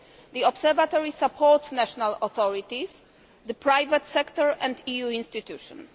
The Observatory supports national authorities, the private sector and EU institutions.